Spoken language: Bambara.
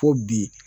Ko bi